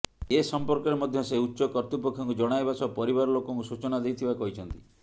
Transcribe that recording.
ଏ ସମ୍ପର୍କରେ ମଧ୍ୟ ସେ ଉଚ୍ଚ କର୍ତ୍ତୁପକ୍ଷଙ୍କୁ ଜଣାଇବା ସହ ପରିବାର ଲୋକଙ୍କୁ ସୂଚନା ଦେଇଥିବା କହିଛନ୍ତି